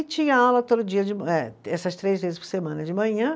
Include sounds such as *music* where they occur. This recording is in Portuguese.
E tinha aula todo dia de *unintelligible* eh, essas três vezes por semana de manhã.